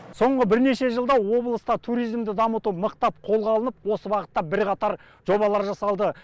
соңғы бірнеше жылда облыста туризмді дамыту мықтап қолға алынып осы бағытта бірқатар жобалар жасалды